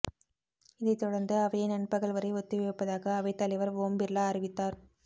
இதைத் தொடர்ந்து அவையை நண்பகல் வரை ஒத்திவைப்பதாக அவைத்தலைவர் ஓம் பிர்லா அறிவித்தார்